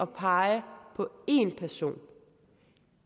pege på én person på